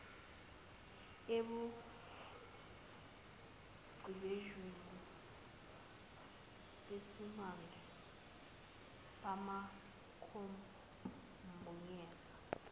ebuchephesheni besimanje bamakhompuyutha